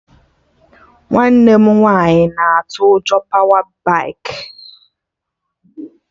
Nwanne m nwaanyị na atụ ụjọ pawa baikị